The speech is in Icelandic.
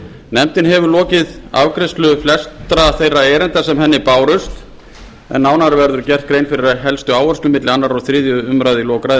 nefndin hefur lokið afgreiðslu flestra þeirra erinda sem henni bárust en nánar verður gerð grein fyrir helstu áherslum milli annars og þriðju umræðu í lok ræðu